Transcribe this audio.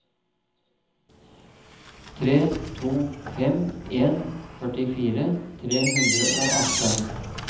tre to fem en førtifire tre hundre og atten